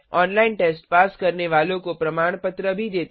online test pass करने वालों को प्रमाण पत्र भी देते हैं